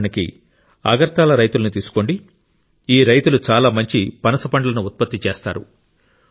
ఉదాహరణకు అగర్తల రైతులను తీసుకోండి ఈ రైతులు చాలా మంచి పనస పండ్లను ఉత్పత్తి చేస్తారు